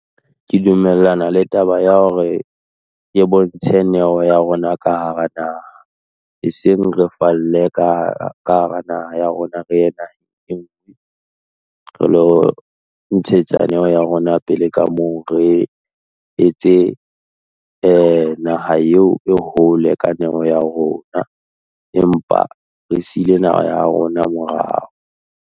Ke dumellana le taba ya hore, bontshe neo ya rona ka hara naha, e seng re falle ka hara naha ya rona re ye naheng enngwe, re ilo ntshetsa neo ya rona pele ka moo re etse naha eo e hole ka neo ya rona, empa re siile naha ya rona morao.